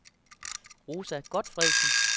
Rosa Gotfredsen